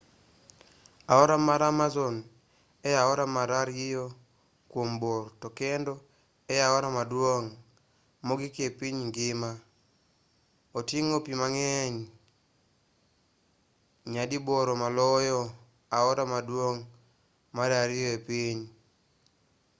aora mar amazon e aora mar ariyo kuom bor to kendo e aora maduong' mogik e piny ngima oting'o pi mang'eny nyadiboro maloyo aora maduong' mar ariyo e piny